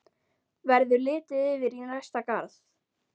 Verður litið yfir í næsta garð.